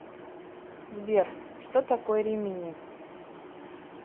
сбер что такое римини